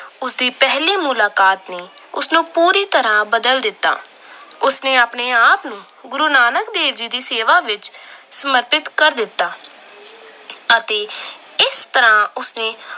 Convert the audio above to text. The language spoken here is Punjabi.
ਉਸ ਦੀ ਪਹਿਲੀ ਮੁਲਾਕਾਤ ਨੇ ਉਸਨੂੰ ਪੂਰੀ ਤਰ੍ਹਾਂ ਬਦਲ ਦਿੱਤਾ। ਉਸ ਨੇ ਆਪਣੇ ਆਪ ਨੂੰ ਗੁਰੂ ਨਾਨਕ ਦੇਵ ਜੀ ਦੀ ਸੇਵਾ ਵਿੱਚ ਸਮਰਪਿਤ ਕਰ ਦਿੱਤਾ। ਅਤੇ ਇਸ ਤਰ੍ਹਾਂ ਉਸਨੇ